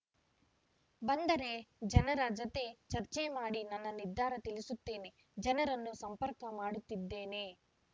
ಬಂದರೆ ಜನರ ಜತೆ ಚರ್ಚೆ ಮಾಡಿ ನನ್ನ ನಿರ್ಧಾರ ತಿಳಿಸುತ್ತೇನೆ ಜನರನ್ನು ಸಂಪರ್ಕ‌ ಮಾಡುತ್ತಿದ್ದೇನೆ